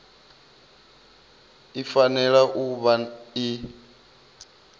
i fanela u vha i